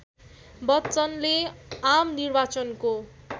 बच्चनले आम निर्वाचनको